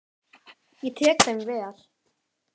Ég tek þeim vel.